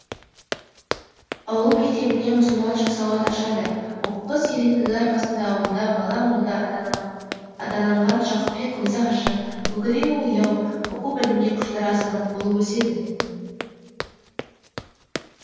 ауыл мектебінен мұсылманша сауат ашады оқуға зеректігі арқасында ауылда бала молда атананған жақыпбек көзі ашық көкірегі ояу оқу білімге құштар азамат болып өседі